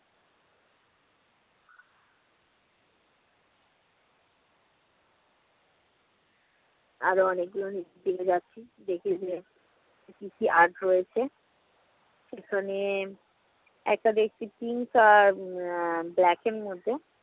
আর অনেকগুলো নিচে চলে যাচ্ছি, দেখি গিয়ে কি কি art রয়েছে। এখানে একটা দেখি তিনটা উম black এর মতো